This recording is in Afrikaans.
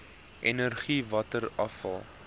energie water afval